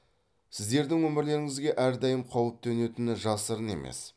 сіздердің өмірлеріңізге әрдайым қауіп төнетіні жасырын емес